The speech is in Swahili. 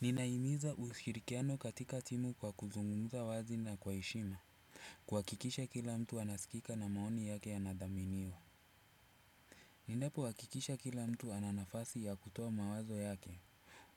Ninahimiza ushirikiano katika timu kwa kuzungumza wazi na kwa heshima. Kuhakikisha kila mtu anasikika na maoni yake yanathaminiwa. Ninapohakikisha kila mtu ana nafasi ya kutoa mawazo yake